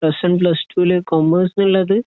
plus one plus ടുലു commerce ഉള്ളത്